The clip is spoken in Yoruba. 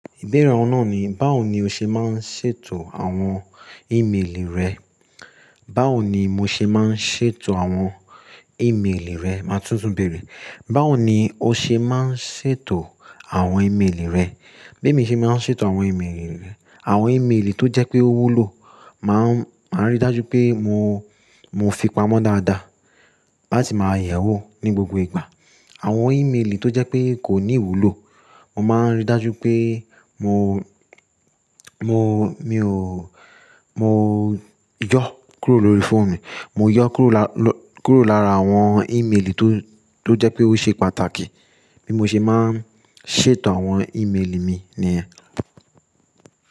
Ìbéèrè ọ̀nà ni, báwo ni o ṣe máa ń ṣètò àwọn ímeèlì rẹ? Báwo ni mo ṣe máa ń ṣètò àwọn ímeèlì rẹ? Màá túntún béèrè, báwo ni o ṣe máa ń ṣètò àwọn ímeèlì rẹ? Bí mo ṣe máa ń ṣètò àwọn ímeèlì rẹ, àwọn ímeèlì tó jẹ́ pé ó wúlò, màá, màá rí dájú pé mo, mo fi pamọ́ dáadáa láti máa yẹ̀ ẹ́ wò ní gbogbo ìgbà. Àwọn ímeèlì tó jẹ́ pé kò ní wúlò, mo máa ń rí dájú pé mo, mo, mi ò, mo yọ kúrò lórí fóònù mi. Mo yọ kúrò lá, kúrò lára àwọn ímeèlì tó, tó jẹ́ pé ó ṣe pàtàkì. Bí mo ṣe máa ń ṣètò àwọn ímeèlì mi ni ẹ́.